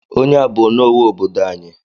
Onye a bụ onowu obodo anyị.